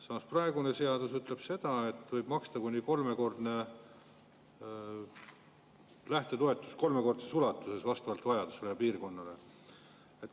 Samas ütleb praegune seadus, et võib maksta lähtetoetust kolmekordses ulatuses vastavalt vajadusele ja piirkonnale.